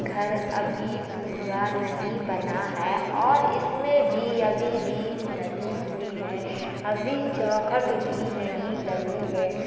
घर अभी पूरा नहीं बना है और इसमें भी अभी बीम डली हुई है अभी चौखट भी नहीं लगी है |